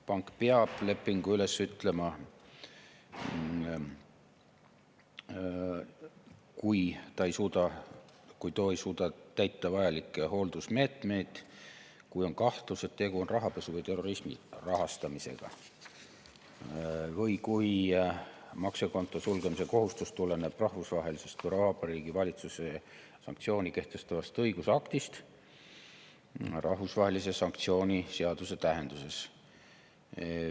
Pank peab lepingu üles ütlema, kui ei suudeta täita vajalikke hooldusmeetmeid, kui on kahtlus, et tegu on rahapesu või terrorismi rahastamisega, või kui maksja konto sulgemise kohustus tuleneb rahvusvahelist või Vabariigi Valitsuse sanktsiooni kehtestavast õigusaktist rahvusvahelise sanktsiooni seaduse tähenduses.